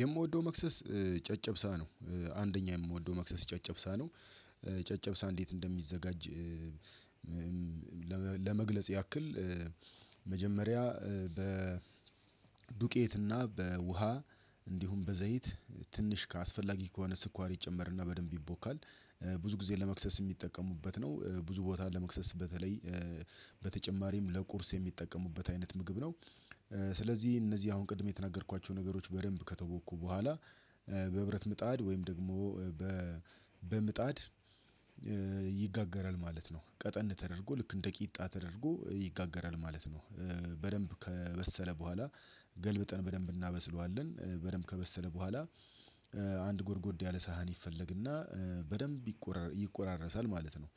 የምወደው መክሰስ ጨጨብሳ ነው። አንደኛ የምወደው መክሰስ ጨጨብሳ ነው። ጨጨብሳ እንዴት እንደሚዘጋጅ ለመግለጽ ያክል መጀመሪያ በ በዱቄት እና በውሃ እንዲሁም በዘይት ትንሽ ከአስፈላጊ ከሆነ ስኳር ይጨመርና በደንብ ይቦካል። ብዙ ጊዜ ለመክሰስ የሚጠቀሙበት ነው። ብዙ ቦታ ለመክሰስ በተለይ በተጨማሪም ለቁርስ የሚጠቀሙበት አይነት ምግብ ነው። ስለዚህ እነዚህ አሁን ቅድም የተናገርኳቸው ነገሮች በደንብ ከተቦኩ በኋላ በብረት ምጣድ ወይም ደግሞ በምጣድ ይጋገራል ማለት ነው። ቀጠን ተደርጎ ልክ እንደ ቂጣ ተደርጎ ይጋገራል ማለት ነው። በደንብ ከበሰለ በኋላ ገልብጠን በደንብ እናበስለዋለን። በደንብ ከበሰለ በኋላ አንድ ጎርጎድ ያለ ሳህን ይፈለግና በደንብ ይቆራረሳል ማለት ነው።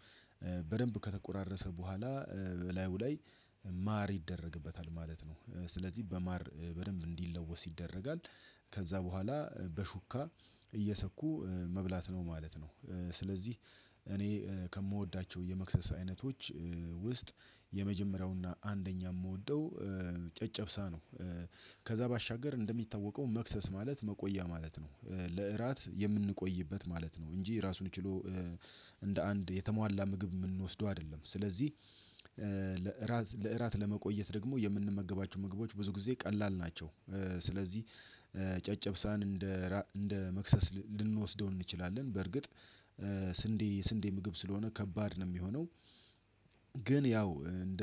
በደንብ ከተቆራረሰ በኋላ በላዩ ላይ ማር ይደረግበታል ማለት ነው። ስለዚህ በማር በደንብ እንዲለወስ ይደረጋል። ከዛ በኋላ በሹካ እየሰኩ መብላት ነው ማለት ነው። ስለዚህ እኔ ከምወዳቸው የመክሰስ አይነቶች ውስጥ የመጀመሪያውና አንደኛ የምወደው ጨጨብሳ ነው። ከዛ ባሻገር እንደሚታወቀው መክሰስ ማለት መቆያ ማለት ነው። ለእራት የምንቆይበት ማለት ነው እንጂ ራሱን ችሎ እንደ አንድ የተሟላ ምግብ የምንወስደው አይደለም። ስለዚህ ለእራት ለመቆየት ደግሞ የምንመገባቸው ምግቦች ብዙ ጊዜ ቀላል ናቸው። ስለዚህ ጨጨብሳን እንደ እንደ መክሰስ ልንወስደው እንችላለን። በአርግጥ ስንዴ የስንዴ ምግብ ስለሆነ ከባድ ነው የሚሆነው። ግን ያው እንደ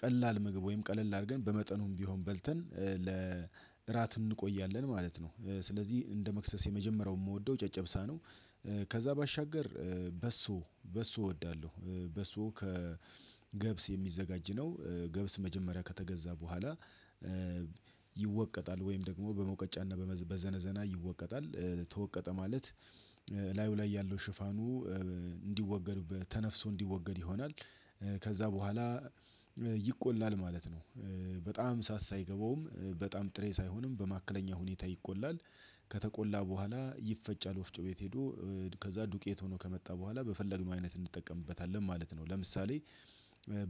ቀላል ምግብ ወይም ቀለል አድርገን በመጠኑም ቢሆን በልተን ለእራት እንቆያለን ማለት ነው። ስለዚህ እንደ መክሰስ የመጀመሪያው የምወደው ጨጨብሳ ነው። ከዛ ባሻገር በሶ በሶ እወዳለሁ። በሶ ከገብስ የሚዘጋጅ ነው። ገብስ መጀመሪያ ከተገዛ በኋላ ይወቀጣል ወይም በሙቀጫና በዘነዘና ይወቀጣል። ተወቀጠ ማለት ላዩ ላይ ያለው ሽፋኑ እንዲወገድ ተነፍሶ እንዲወገድ ይሆናል። ከዛ በኋላ ይቆላል ማለት ነው። በጣም እሳት ሳይገባውም በጣም ጥሬ ሳይሆንም በመካከለኛ ሁኔታ ይቆላል። ከተቆላ በኋላ ይፈጫል ወፍጮ ቤት ሄዶ። ከዛ ዱቄት ሆኖ ከመጣ በኋላ በፈለግነው አይነት እንጠቀምበታለን ማለት ነው። ለምሳሌ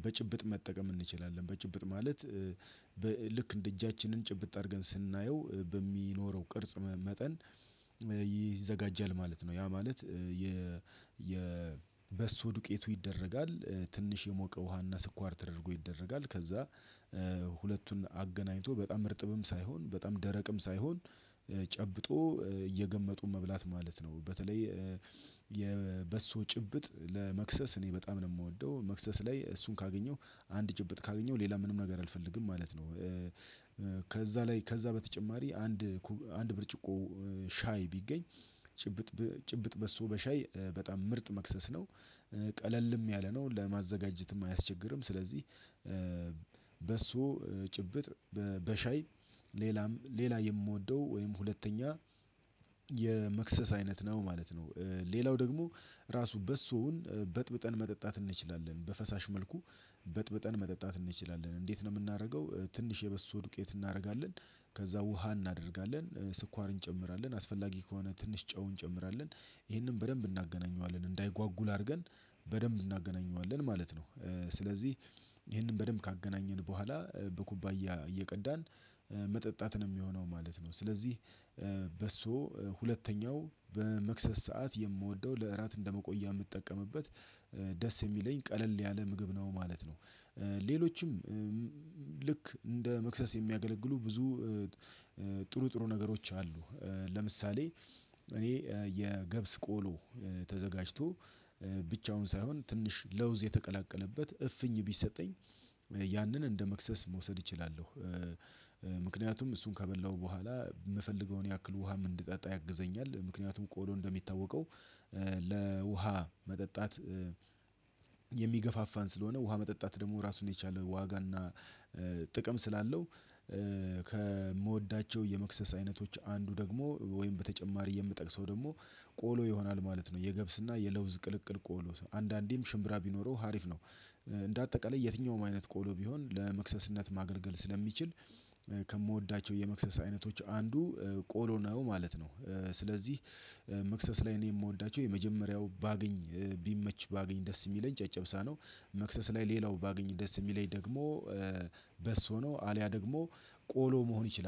በጭብጥ መጠቀም እንችላለን። በጭብጥ ማለት ልክ እንደ እጃችንን ጭብጥ አድርገን ስናየው በሚኖረው ቅርጽ መጠን ይዘጋጃል ማለት ነው። ያ ማለት የ የበሶ ዱቄቱ ይደረጋል ትንሽ የሞቀ ውሃና ስኳር ተደርጎ ይደረጋል ከዛ ሁለቱን አገናኝቶ በጣም እርጥብም ሳይሆን በጣም ደረቅም ሳይሆን ጨብጦ እየገመጡ መብላት ማለት ነው። በተለይ የበሶ ጭብጥ ለመክሰስ እኔ በጣም ነው የምወደው መክሰስ ላይ እሱን ካገኘሁ አንድ ጭብጥ ካገኘሁ ሌላ ምንም ነገር አልፈልግም ማለት ነው። ከዛ ላይ ከዛ በተጨማሪ አንድ አንድ ብርጭቆ ሻይ ቢገኝ ጭብጥ ጭብጥ በሶ በሻይ በጣም ምርጥ መክሰስ ነው። ቀለልም ያለ ነው። ለማዘጋጀትም አያስቸግርም። ስለዚህ በሶ ጭብጥ በሻይ ሌላም ሌላ የምወደው ወይም ሁለተኛ የመክሰስ አይነት ነው ማለት ነው። ሌላው ደግሞ ራሱ በሶውን በጥብጠን መጠጣት እንችላለን በፈሳሽ መልኩ። በጥብጠን መጠጣት እንችላለን። እንዴት ነው የምናደርገው ትንሽ የበሶ ድቄት እናደርጋለን፤ ከዛ ውሃ እናደርጋለን፤ ስኳርን እንጨምራለን፤ አስፈላጊ ከሆነ ትንሽ ጨው እንጨምራለን። ይሄንን በደንብ እናገናኘዋለን እንዳይጓጉል አድርገን በደንብ እናገናኘዋለን ማለት ነው። ስለዚህ ይሄንን በደንብ ካገናኘን በኋላ በኩባያ እየቀዳን መጠጣት ነው የሚሆነው ማለት ነው። ስለዚህ በሶ ሁለተኛው በመክሰስ ሰዓት የምወደው ለእራት እንደመቆያ የምጠቀምበት ደስ የሚለኝ ቀለል ያለ ምግብ ነው ማለት ነው። ሌሎችም ልክ እንደ መክሰስ የሚያገለግሉ ብዙ ጥሩ ጥሩ ነገሮች አሉ። ለምሳሌ እኔ የገብስ ቆሎ ተዘጋጅቶ ብቻውን ሳይሆን ትንሽ ለውዝ የተቀላቀለበት እፍኝ ቢሰጠኝ ያንን እንደመክሰስ መውሰድ እችላለሁ። ምክንያቱም እሱን ከበላሁ በኋላ የምፈልገውን ያክል ውሃም እንድጠጣ ያግዘኛል። ምክንያቱም ቆሎ እንደሚታወቀው ለውሃ መጠጣት የሚገፋፋን ስለሆነ ውሃ መጠጣት ደግሞ ራሱን የቻለ ዋጋና ጥቅም ስላለው ከምወዳቸው የመክሰስ አይነቶች አንዱ ደግሞ ወይም በተጨማሪ የምጠቅሰው ደግሞ ቆሎ ይሆናል ማለት ነው። የገብስና የለውዝ ቅልቅል ቆሎ አንዳንዴም ሽምብራ ቢኖረው ሀሪፍ ነው። እንደ አጠቃላይ የትኛውም አይነት ቆሎ ቢሆን ለመክሰስነት ማገልገል ስለሚችል ከምወዳቸው የመክሰስ አይነቶች አንዱ ቆሎ ነው ማለት ነው። ስለዚህ መክሰስ ላይ እኔ የምወዳቸው የመጀመሪያው ባገኝ ቢመች ባገኝ ደስ የሚለኝ ጨጨብሳ ነው። መክሰስ ላይ ሌላው ባገኝ ደስ የሚለኝ ደግሞ በሶ ነው። አልያ ደግሞ ቆሎ መሆን ይችላል።